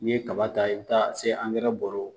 Ni ye kaba ta , i bi taa se bɔrɔ